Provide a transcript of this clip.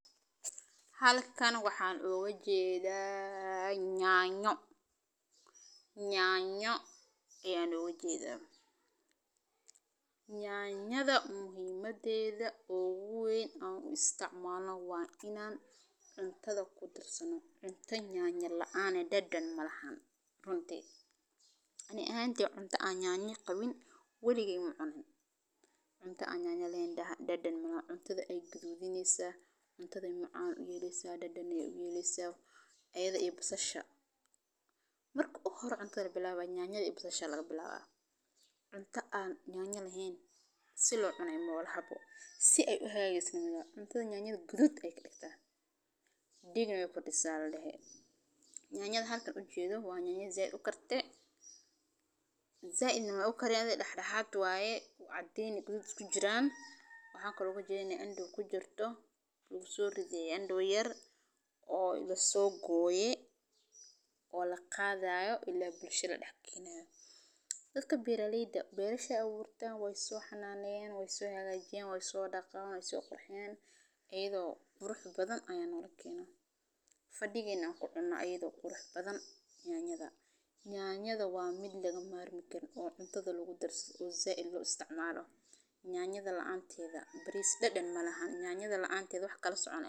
Halkan waxan oga jedha yanyo, yanyo oo muhimadedha ohu weyn an u isticmalno waa inan cuntada kudarsano, cunto yanyo laan ah dadhan malaha runti. Ani ahantey cunta an yanya qawin waligey macunin, cunta aan yanya lahen dhadan malahan ,yanyada an halkan oga jedo zaid mey u karin cadin iyo gadgadhud isku jiran waye . Waana u jedha inay candow kujirto ,candow yar oo laso goye oo laqadhayo oo ila bulshada ladax geynayo dadka beraleyda berashey aburtan wey so hananeyan ,wey so hagajiyan, wey so dhaqan ,wey so qurxiyan ,ayadho qurux badan ayaa nola keena ,fadiga aan kucuna ayadho qurux badan ,waa mid laga marmi karin oo cuntada lagu darsadho oo zaid loo isticmalo yanyada laanteda ,baris dhadan malahan, yanyada laanted wax kala soconaya .